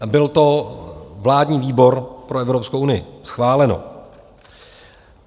Byl to vládní výbor pro Evropskou unii - schváleno.